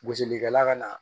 Gosilikɛla ka